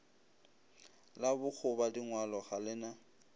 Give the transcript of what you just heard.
la bokgobadingwalo ga le na